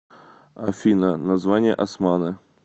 афина название османы